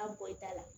A bɔ i ta la